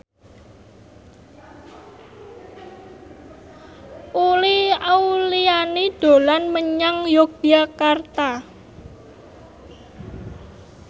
Uli Auliani dolan menyang Yogyakarta